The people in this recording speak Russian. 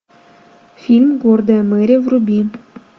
фильм гордая мэри вруби